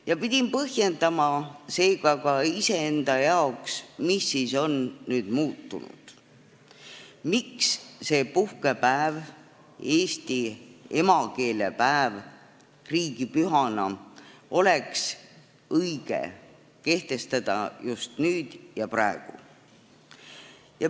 Ma pidin põhjendama seega ka iseenda jaoks, mis on siis nüüd muutunud, miks see puhkepäev, emakeelepäev riigipühana, oleks õige kehtestada just nüüd ja praegu.